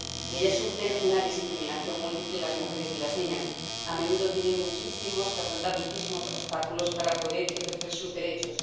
Ellas sufren una discriminación múltiple —las mujeres y las niñas— a menudo tienen que afrontar muchísimos obstáculos para poder ejercer sus derechos